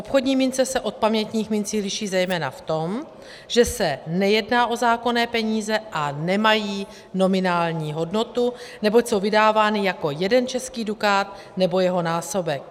Obchodní mince se od pamětních mincí liší zejména v tom, že se nejedná o zákonné peníze a nemají nominální hodnotu, neboť jsou vydávány jako jeden český dukát nebo jeho násobek.